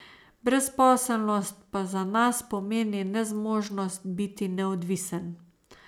Brezposelnost pa za nas pomeni nezmožnost biti neodvisen.